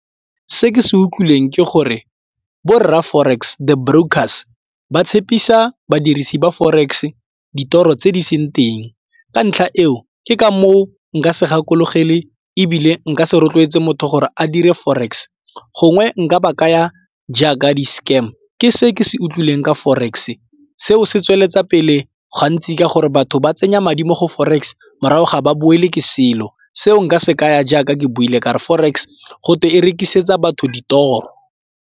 Se ke se utlwileng ke gore bo rra forex the brokers ba tshepisa badirisi ba forex ditoro tse di seng teng ka ntlha eo ke ka moo nka se gakologelae ebile nka se rotloetse motho gore a dire forex gongwe nka ba kaya jaaka di-scam ke se ke se utlwileng ka forex. Seo se tsweletsa pele gantsi ka gore batho ba tsenya madi mo go forex morago ga ba boele ke selo, seo nka se kaya jaaka ke buile ka re forex gotwe e rekisetsa batho ditoro.